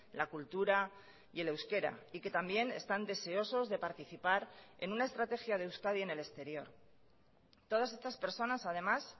la cultura y el euskera y que también están deseosos de participar en una estrategia de euskadi en el exterior todas estas personas además